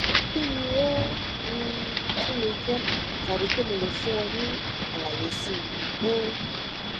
kí ni ó um tún lè jẹ tàbí ṣé mo lè fún ọ ní àlàyé síi um